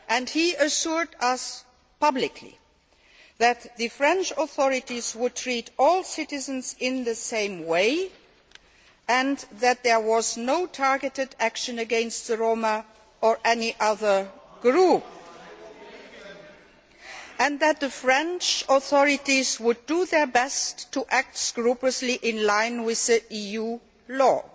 He assured us publicly that the French authorities would treat all citizens in the same way, that there was no targeted action against the Roma or any other group, and that the French authorities would do their best to act scrupulously in line with EU law.